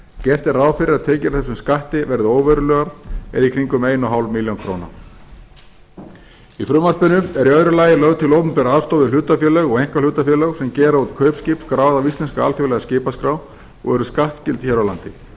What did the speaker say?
gert er ráð fyrir að tekjur af þessum skatti verði óverulegar eða í kringum eins og hálft er í frumvarpinu er í öðru lagi lögð til opinber aðstoð við hlutafélög og einkahlutafélög sem gera út kaupskip skráð á íslenska alþjóðlega skipaskrá og eru skattskyld hér á landi